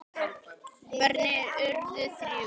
Börnin urðu þrjú.